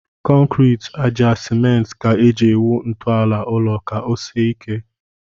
Kọnkịrị, àjà, simenti ka e ji awụ ntọala ụlọ ka ọ sie ike